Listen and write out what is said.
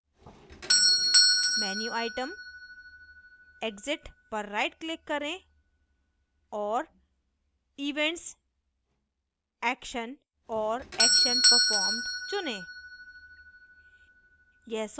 menu item exit पर rightclick करें और events action और action performed चुनें